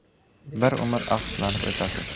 Bir umr afsuslanib o‘tasiz.